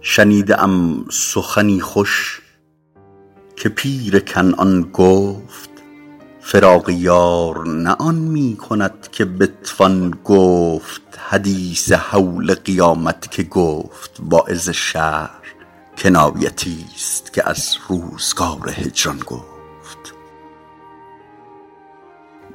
شنیده ام سخنی خوش که پیر کنعان گفت فراق یار نه آن می کند که بتوان گفت حدیث هول قیامت که گفت واعظ شهر کنایتی ست که از روزگار هجران گفت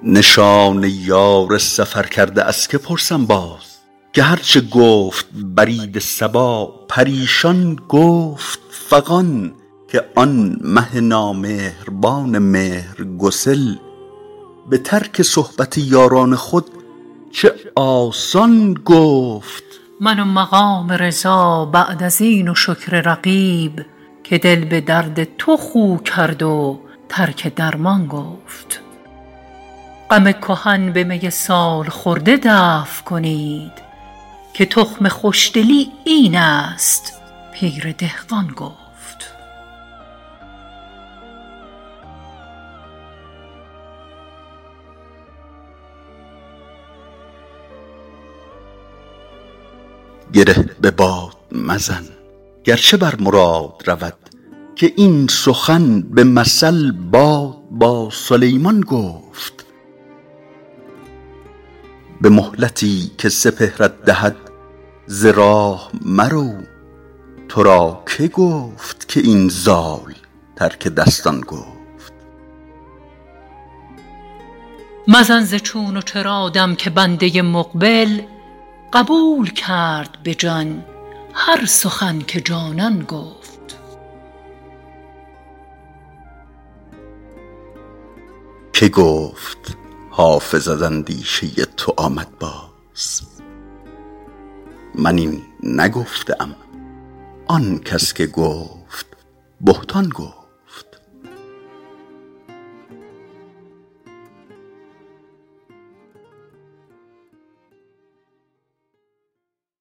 نشان یار سفرکرده از که پرسم باز که هر چه گفت برید صبا پریشان گفت فغان که آن مه نامهربان مهرگسل به ترک صحبت یاران خود چه آسان گفت من و مقام رضا بعد از این و شکر رقیب که دل به درد تو خو کرد و ترک درمان گفت غم کهن به می سال خورده دفع کنید که تخم خوش دلی این است پیر دهقان گفت گره به باد مزن گر چه بر مراد رود که این سخن به مثل باد با سلیمان گفت به مهلتی که سپهرت دهد ز راه مرو تو را که گفت که این زال ترک دستان گفت مزن ز چون و چرا دم که بنده مقبل قبول کرد به جان هر سخن که جانان گفت که گفت حافظ از اندیشه تو آمد باز من این نگفته ام آن کس که گفت بهتان گفت